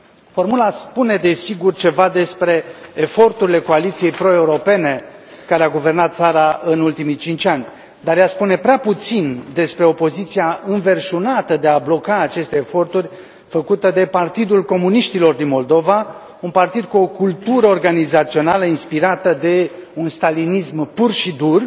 Formula spune desigur ceva despre eforturile coaliției proeuropene, care a guvernat țara în ultimii cinci ani, dar ea spune prea puțin despre opoziția înverșunată de a bloca aceste eforturi făcută de Partidul Comuniștilor din Moldova, un partid cu o cultură organizațională inspirată de un stalinism pur și dur.